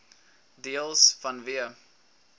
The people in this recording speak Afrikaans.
deels vanweë